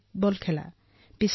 বাস্কেটবলো খেলো